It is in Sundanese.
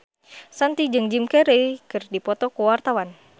Shanti jeung Jim Carey keur dipoto ku wartawan